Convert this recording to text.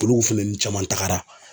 Olu fɛnɛini caman tagara.